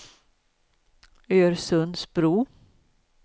Örsundsbro